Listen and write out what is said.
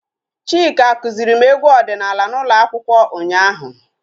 Chika kụziri m egwu ọdịnala n'ụlọ akwụkwọ ụnyaahụ